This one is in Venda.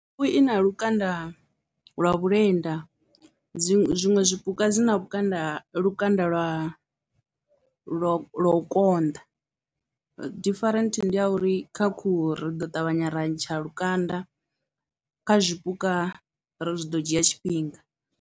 Khuhu i na lukanda lwa vhulenda dziṅwe zwiṅwe zwipuka zwi na, lukanda lwa, lukanda lwa lwa lwa u konḓa different ndi ya uri kha khuhu ri ḓo ṱavhanya ra ntsha lukanda, kha zwipuka ri zwi ḓo dzhia tshifhinga.